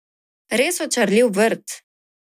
Res očarljiv vrt.